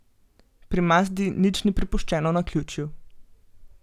Pri Mazdi nič ni prepuščeno naključju.